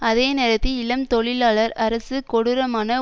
அதே நேரத்தில் இளம் தொழிலாளர் அரசு கொடூரமான